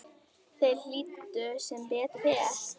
Þeir hlýddu, sem betur fer